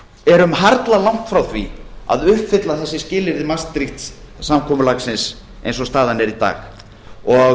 erum harla langt frá því að uppfylla þessi skilyrði maastricht samkomulagsins eins og staðan er í dag og